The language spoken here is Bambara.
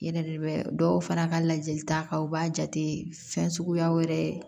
Yɛrɛ de bɛ dɔw fara ka lajɛli ta kan u b'a jate fɛn suguyaw yɛrɛ